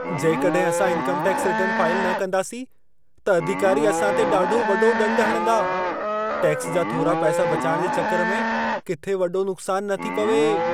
जेकॾहिं असां income tax return file न कंदासीं, त अधिकारी असां ते ॾाढो वॾो ॾंडु हणंदा। टैक्स जा थोरा पैसा बचाइण जे चकर में किथे वॾो नुक़सानु न थी पवे।